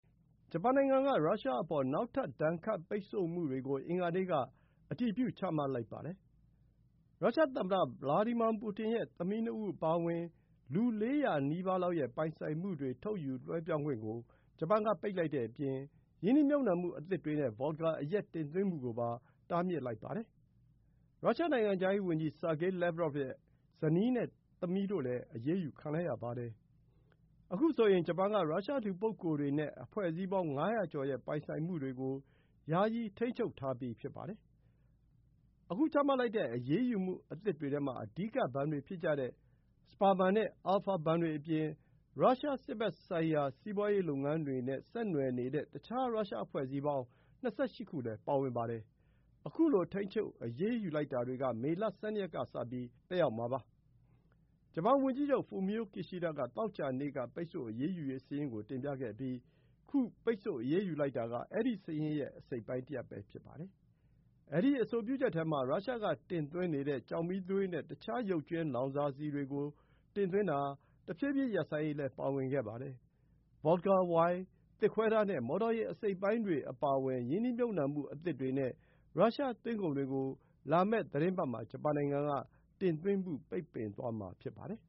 ဂျပန်နိုင်ငံက ရုရှားအပေါ် နောက်ထပ် ဒဏ်ခတ်ပိတ်ဆို့မှုတွေကို အင်္ဂါနေ့က အတည်ပြု ချမှတ်လိုက်ပါတယ်။ ရုရှားသမ္မတ ဗလာဒီမာပူတင်ရဲ့ သမီးနှစ်ဦးအပါအဝင် လူ ၄၀၀ နီးပါးလောက်ရဲ့ပိုင်ဆိုင်မှုတွေ ထုတ်ယူလွှဲပြောင်းခွင့်ကို ဂျပန်က ပိတ်ပင်လိုက်တဲ့အပြင် ရင်းနှီးမြှုပ်နှံမှုအသစ်တွေနဲ့ ဗော့ဒ်ကာအရက် တင်သွင်းမှုကိုပါ တားမြစ်လိုက်ပါတယ်။ ရုရှား နိုင်ငံခြားရေးဝန်ကြီး ဆာဂေး လက်ဗရော့ဗ် (Sergey Lavrov) ရဲ့ ဇနီးနဲ့သမီးတို့လည်း အရေးယူ ခံလိုက်ရပါတယ်။ အခုဆိုရင် ဂျပန်က ရုရှား လူပုဂ္ဂိုလ်တွေနဲ့ အဖွဲ့အစည်းပေါင်း ၅၀၀ ကျော်ရဲ့ ပိုင်ဆိုင်မှုတွေကို ယာယီထိန်းချုပ်ထားပြီး ဖြစ်ပါတယ်။ အခု ချမှတ်လိုက်တဲ့ ဒီ အရေးယူမှုအသစ်တွေထဲ အဓိက ဘဏ်တွေဖြစ်တဲ့ Sberbank နဲ့ Alfa ဘဏ်တွေက ပိုင်ဆိုင်မှုတွေအပြင် ရုရှားစစ်ဘက်ဆိုင်ရာ စီးပွားရေးလုပ်ငန်းတွေနဲ့ ဆက်နွှယ်နေတဲ့ တခြား ရုရှား အဖွဲ့အစည်း ၂၈ ခုလည်း ပါဝင်ပါတယ်။ ခုလို ထိန်းချုပ်အရေးယူလိုက်တာတွေက မေလ ၁၂ ရက်ကနေစပြီး သက်ရောက်မှာဖြစ်ပါတယ်။ ဂျပန်ဝန်ကြီးချုပ် Fumio Kishida က သောကြာနေ့က ပိတ်ဆို့အရေးယူရေးစာရင်းကို တင်ပြခဲ့ပြီး ခု ပိတ်ဆို့အရေးယူလိုက်တာက အဲဒီစာရင်းရဲ့ အစိတ်အပိုင်းတရပ် ဖြစ်ပါတယ်။ အဲဒီအဆိုပြုချက်ထဲမှာ ရုရှားကတင်သွင်းနေတဲ့ ကျောက်မီးသွေးနဲ့ တခြားရုပ်ကြွင်းလောင်စာဆီတွေကို တဖြည်းဖြည်း တင်သွင်းတာ ရပ်ဆိုင်းရေးလည်း ပါဝင်ပါတယ်။ ဗော့ဒ်ကာ၊ ဝိုင်၊ သစ်ခွဲသားနဲ့ မော်တော်ယာဉ် အစိတ်အပိုင်းတွေအပါအဝင် ရင်းနှီးမြှုပ်နှံမှုအသစ်တွေနဲ့ ရုရှားသွင်းကုန်တွေကို လာမယ့်သီတင်းပတ်မှာ ဂျပန်နိုင်ငံက တင်သွင်းမှု ပိတ်ပင်သွားမှာဖြစ်ပါတယ်